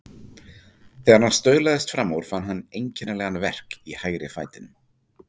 Þegar hann staulaðist fram úr fann hann einkennilegan verk í hægri fætinum.